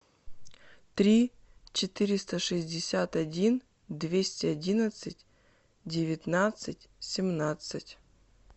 три четыреста шестьдесят один двести одиннадцать девятнадцать семнадцать